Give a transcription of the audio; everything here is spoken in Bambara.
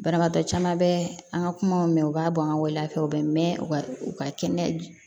Banabaatɔ caman bɛ an ka kumaw mɛn u b'a bɔ an ka waleya fɛ u bɛ mɛn u ka u ka kɛnɛya